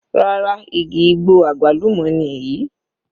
Rárá, igi igbó àgbálùmọ́ ni èyí.